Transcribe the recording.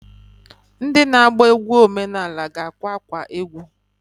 Ndị na-agba egwu omenanị ga-akwa akwa egwu.